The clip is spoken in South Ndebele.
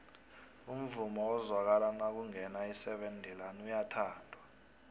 umvumo ezwakala nakungena iseven deluan uyathandwo